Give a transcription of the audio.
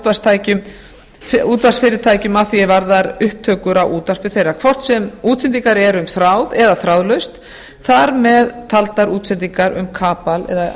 afrit af kvikmyndum þeirra útvarpsfyrirtækjum að því er varðar upptökur á útvarpi þeirra hvort sem útsendingar eru um þráð eða þráðlaust þar með taldar útsendingar um kapal eða